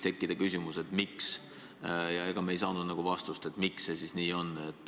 Tekkis küsimus, miks ikkagi, ja ega me ei sellele vastust ei saanud.